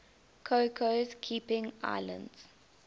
cocos keeling islands